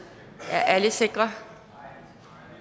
er alle sikre